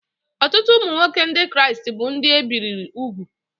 Ọtụtụ ụmụ nwoke Ndị Kraịst bụ ndị e bibiri úgwù